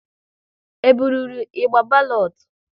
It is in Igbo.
E burụrụ ịgba balotu?